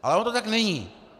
Ale ono to tak není.